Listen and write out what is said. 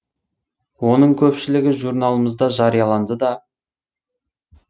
оның көпшілігі журналымызда жарияланды да